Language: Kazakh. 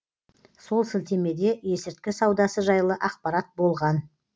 сол сілтемеде есірткі саудасы жайлы ақпарат болған